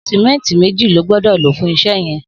Sìmẹntí méji ló gbọdọ ló fún iṣẹ yẹn